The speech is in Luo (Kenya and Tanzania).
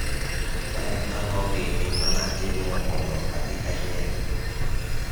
en ang`o gini manatimo mondo abi anyiew